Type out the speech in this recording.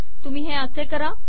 तुम्ही हे असे करा